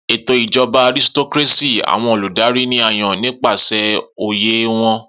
Eto ijọba Aristocracy, awọn oludari ni a yan nipasẹ oye wọn